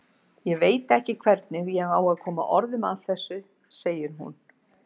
Ég veit ekki hvernig ég á að koma orðum að þessu, segir hún.